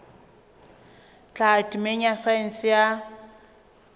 tlhaho temeng ya saense ya